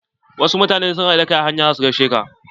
Wasu mutane in sun haɗu da kai kan hanya za su gaishe ka.